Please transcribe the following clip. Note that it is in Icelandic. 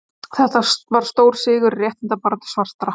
Þetta var stór sigur í réttindabaráttu svartra.